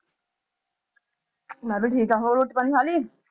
ਮੈਂ ਵੀ ਠੀਕ ਆ ਹੋਰ ਰੋਟੀ ਪਾਣੀ ਖਾ ਲਈ